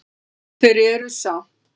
Þeir eru samt